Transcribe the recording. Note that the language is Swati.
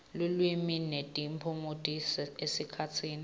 lulwimi netiphumuti esikhatsini